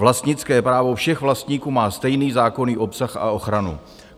Vlastnické právo všech vlastníků má stejný zákonný obsah a ochranu."